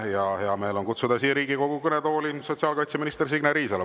Mul on hea meel kutsuda Riigikogu kõnetooli sotsiaalkaitseminister Signe Riisalo.